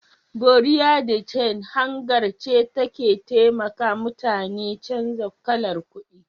"Buerea de change " hangar ce da take taimaka muta ni canza kalar kudi